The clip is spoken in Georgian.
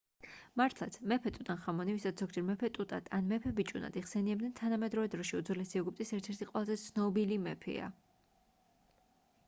მართლაც მეფე ტუტანხამონი ვისაც ზოგჯერ მეფე ტუტად ან მეფე ბიჭუნად იხსენიებენ თანამედროვე დროში უძველესი ეგვიპტის ერთ-ერთი ყველაზე ცნობილი მეფეა